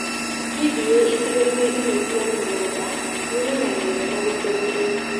Itindiĩ icigoinĩ imwe cia mĩgũnda nĩimenyagĩrĩrwo na gũtũgũtwo